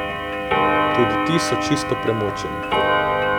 Tudi ti so čisto premočeni.